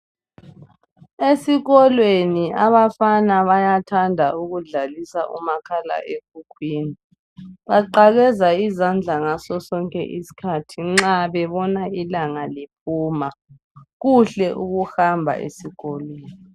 Esikolweni abafana bayathanda ukudlalisa umakhala ekhukhwini. Baqakeza izandla ngaso sonke isikhathi nxa bebona ilanga liphuma, kuhle ukuhamba esikolweni.